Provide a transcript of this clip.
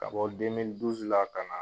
Ka bɔ ka na.